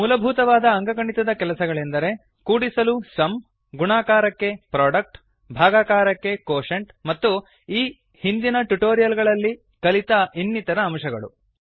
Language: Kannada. ಮೂಲಭೂತವಾದ ಅಂಕಗಣಿತದ ಕೆಲಸಗಳೆಂದರೆ ಕೂಡಿಸಲು ಸುಮ್ ಗುಣಾಕರಕ್ಕೆ ಪ್ರೊಡಕ್ಟ್ ಭಾಗಾಕಾರಕ್ಕೆ ಕ್ವೋಷೆಂಟ್ ಕೋಶಂಟ್ ಮತ್ತು ಈ ಹಿಂದಿನ ಟ್ಯುಟೋರಿಯಲ್ ಗಳಲ್ಲಿ ಕಲಿತ ಇನ್ನಿತರ ಅಂಶಗಳು